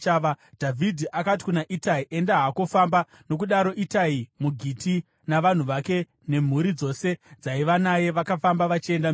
Dhavhidhi akati kuna Itai, “Enda hako, famba.” Nokudaro Itai muGiti navanhu vake nemhuri dzose dzaiva naye vakafamba vachienda mberi.